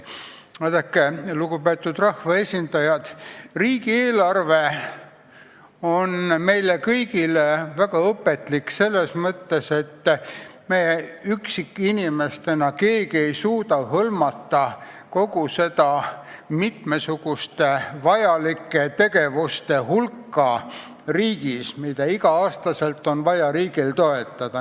Vaadake, lugupeetud rahvaesindajad, riigieelarve on meile kõigile väga õpetlik selles mõttes, et me üksikinimestena keegi ei suuda hõlmata kogu seda mitmesuguste vajalike tegevuste hulka riigis, mida igal aastal on vaja riigil toetada.